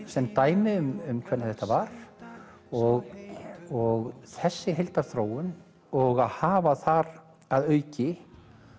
sem dæmi um hvernig þetta var og og þessi heildarþróun og hafa þar að auki